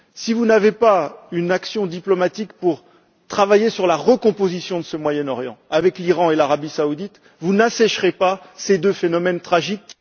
Si vous n'avez pas une action diplomatique pour travailler à la recomposition de ce Moyen Orient, avec l'Iran et l'Arabie saoudite, vous n'assécherez pas ces deux phénomènes tragiques.